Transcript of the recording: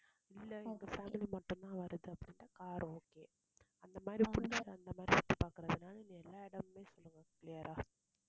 இல்லை எங்க family மட்டும்தான் வருது அப்படின்னா car okay அந்த மாதிரி பிடிச்சு அந்த மாதிரி சுத்தி பார்க்கிறதுனால எல்லா இடமுமே சொல்லுங்க clear ஆ